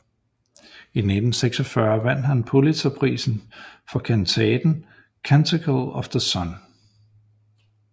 I 1946 vandt han Pulitzerprisen for kantaten Canticle of the Sun